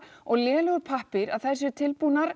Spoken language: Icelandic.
og lélegur pappír að þær séu tilbúnar